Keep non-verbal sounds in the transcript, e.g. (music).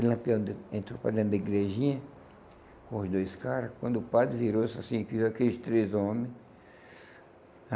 E lampião (unintelligible) entrou para dentro da igrejinha, com os dois caras, quando o padre virou e disse assim, aqui vivem aqueles três homens.